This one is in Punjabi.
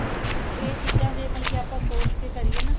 ਮਤਲਬ ਕੀ ਇਹ ਚੀਜ਼ਾ ਤੇ ਮਤਲਬ ਕਿ ਆਪਾਂ ਸੋਚ ਕੇ ਕਰੀਏ ਨਾ